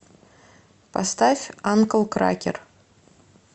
поставь анкл кракер